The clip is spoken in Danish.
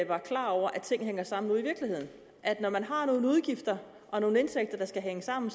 var klar over at ting hænger sammen ude i virkeligheden at når man har nogle udgifter og nogle indtægter der skal hænge sammen